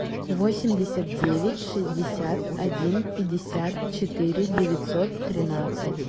восемьдесят девять шестьдесят один пятьдесят четыре девятьсот тринадцать